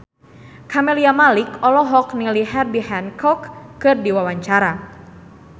Camelia Malik olohok ningali Herbie Hancock keur diwawancara